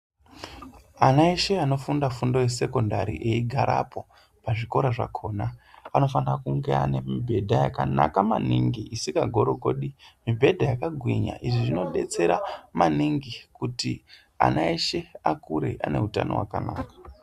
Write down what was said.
Ana eshe anofunda fundo yesekondari eigarapo pazvikora zvakona, anofana kunge ane mibhedha yakanaka maningi isikagorogodi, mibhedha yakagwinya. Izvi zvinodetsera maningi kuti ana eshe akure anehutano hwakanaka.